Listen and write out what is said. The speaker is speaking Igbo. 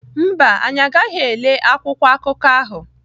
Mba, anyị agaghị ele akwụkwọ akụkọ ahụ.